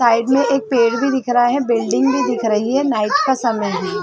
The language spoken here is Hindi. साइड में एक पेड़ भी दिख रहा है बिल्डिंग भी दिख रही है नाईट का समय है।